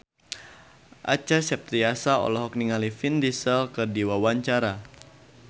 Acha Septriasa olohok ningali Vin Diesel keur diwawancara